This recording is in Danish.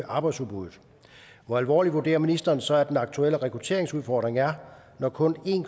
arbejdsudbuddet hvor alvorlig vurderer ministeren så at den aktuelle rekrutteringsudfordring er når kun en